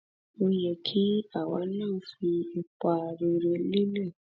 ó yẹ kí àwa náà fi ipa rere lélẹ